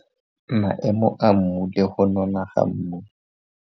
Maemo a mmu le go nona ga mmu.